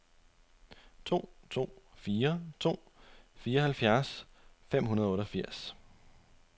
to to fire to fireoghalvfjerds fem hundrede og otteogfirs